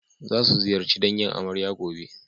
Za su ziyarci dangin amarya gobe.